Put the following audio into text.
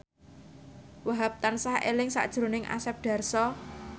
Wahhab tansah eling sakjroning Asep Darso